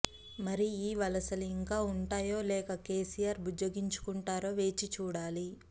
మరి ఈ వలసలు ఇంకా ఉంటాయో లేక కేసీఆర్ బుజ్జగించుకుంటారో వేచి చూడాలి